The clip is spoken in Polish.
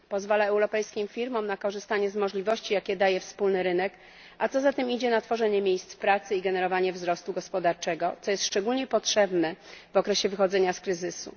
Pozwala europejskim firmom na korzystanie z możliwości, jakie daje wspólny rynek, a co za tym idzie na tworzenie miejsc pracy i generowanie wzrostu gospodarczego, co jest szczególnie potrzebne w okresie wychodzenia z kryzysu.